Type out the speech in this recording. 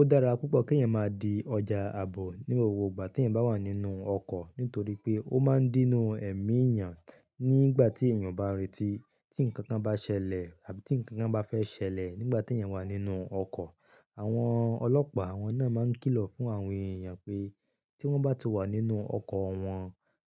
Ó dára púpọ̀ kí ẹ̀yin máa di ọjà àbò ní gbogbo ìgbà tí ẹ̀yin bá wà nínú ọkọ̀ nítorí pé ó máa ń dínú ẹ̀mí èèyàn nígbà tí èèyàn bá retí tí nkankan bá ṣẹlẹ̀ àbí tí nkankan bá fẹ́ ṣẹlẹ̀ nígbà t'ẹ̀èyàn wà nínú ọkọ̀. Àwọn ọlọ́pàá, àwọn náà máa ń kìlọ̀ fún àwọn èèyàn pé tí wọ́n bá ti wà nínú ọkọ̀ wọn,